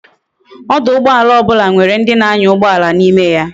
ọdụ̀ụgbọàlà obula nwere ndi na anya ugboala na ime ya